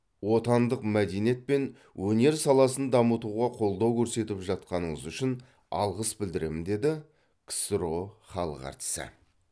отандық мәдениет пен өнер саласын дамытуға қолдау көрсетіп жатқаныңыз үшін алғыс білдіремін деді ксро халық әртісі